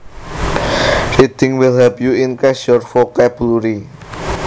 Reading will help you increase your vocabulary